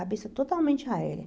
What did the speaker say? A cabeça totalmente aérea.